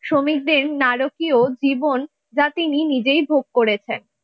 শ্রমিকদের নারকীয় জীবন যা তিনি নিজেই ভোগ করেছেন।